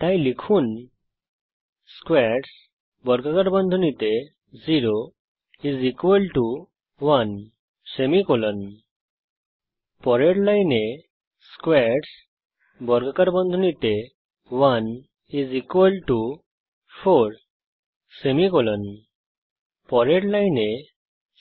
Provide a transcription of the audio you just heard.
তাই লিখুন squares0 1 পরের লাইনে squares1 4 পরের লাইনে